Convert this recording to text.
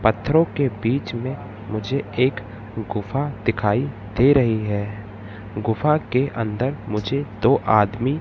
पत्थरों के बीच में मुझे एक गुफा दिखाई दे रही है गुफा के अंदर मुझे दो आदमी--